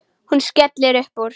Hún skellir upp úr.